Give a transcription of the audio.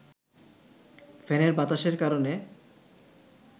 ফ্যানের বাতাসের কারণে